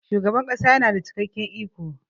shugaban kasa yana da cikakken iko